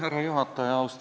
Härra juhataja!